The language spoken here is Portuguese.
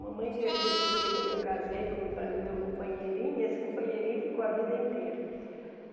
Mamãe deixou ele comigo quando eu casei compa o meu companheirinho, e esse companheirinho ficou a vida inteira.